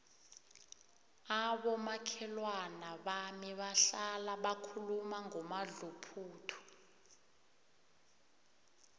abomakhelwana bami bahlala bakhuluma ngomadluphuthu